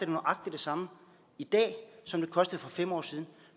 nøjagtig det samme i dag som det kostede for fem år siden